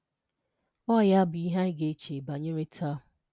Ọ ya bụ ihe anyị ga-eche banyere taa.